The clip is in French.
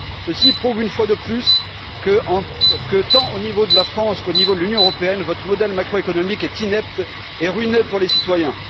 Ceci prouve une fois de plus que, tant au niveau de la France qu'au niveau de l'Union européenne, votre modèle macroéconomique est inepte et ruineux pour les citoyens.